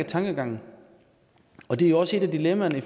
tankegangen og det er jo også et af dilemmaerne i